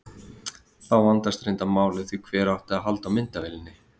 Þá vandaðist reyndar málið því hver átti að halda á myndavélinni?